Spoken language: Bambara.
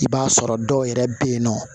I b'a sɔrɔ dɔw yɛrɛ bɛ yen nɔ